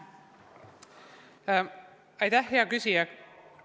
Aitäh, hea küsija!